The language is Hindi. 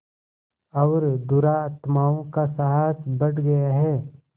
और दुरात्माओं का साहस बढ़ गया है